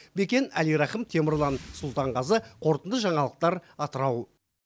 бекен әлирахым темірлан сұлтанғазы қорытынды жаңалықтар атырау